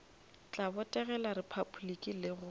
tla botegela repabliki le go